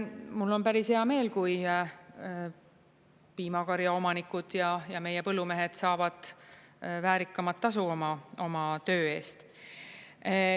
mul on päris hea meel, kui piimakarja omanikud ja meie põllumehed saavad väärikamat tasu oma töö eest.